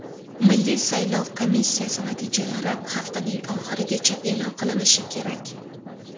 Milliy saylov komissiyasi natijalari haftaning oxirigacha e’lon qilinishi kerak.